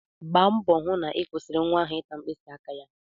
Gba mbọ hụ na ị kwụsịrị nwa ahụ ịta mkpịsị aka ya!